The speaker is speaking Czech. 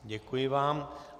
Děkuji vám.